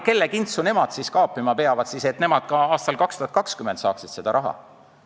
Kelle kintsu nemad kaapima peavad, et nad ka aastal 2020 seda raha saaksid?